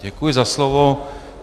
Děkuji za slovo.